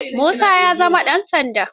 Musa ya zama ɗan sanda.